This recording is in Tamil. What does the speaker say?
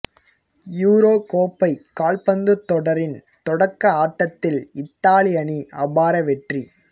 யூரோ கோப்பை கால்பந்து தொடரின் தொடக்க ஆட்டத்தில் இத்தாலி அணி அபார வெற்றி